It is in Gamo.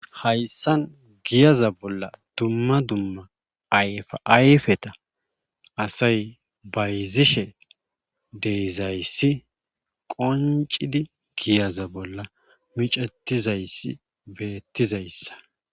hayssan giyaza bolla dumma dumma ayfa ayfeta asay bayzzishe de7izayssi qonccidi giyaza bolla micettizayssi beettizayssa.